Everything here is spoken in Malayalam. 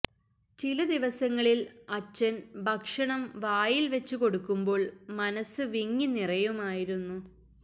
ചില ദിവസങ്ങളിൽ അച്ഛന് ഭക്ഷണം വായിൽ വെച്ചു കൊടുക്കുമ്പോൾ മനസ്സ് വിങ്ങി നിറയുമായിരുന്നു